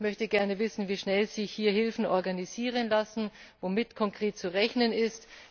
Ich möchte gerne wissen, wie schnell sich hier Hilfen organisieren lassen, womit konkret zu rechnen ist.